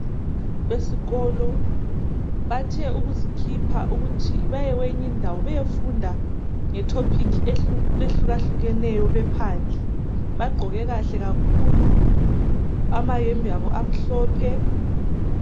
Esikolo bathe ukuzikhipha ukuthi baye kweyinye indawo bayefunda ngetopic ehlukahlukeneyo bephandle. Bagqoke kahle kakhulu, amayembe abo amhlophe.